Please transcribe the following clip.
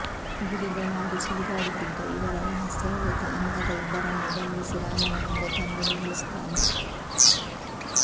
ಗಿಳಿಗಳಾಗಿ ಸುಳಿದಾಡುತ್ತಿದ್ದ ಇವರ ರಹಸ್ಯವರಿತ ಅಂಗದ ಇಬ್ಬರನ್ನೂ ಬಂಧಿಸಿ ರಾಮನ ಮುಂದೆ ತಂದು ನಿಲ್ಲಿಸುತ್ತಾನೆ